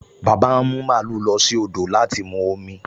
Bàbá ń mú màlúù lọ sí odò láti mu omi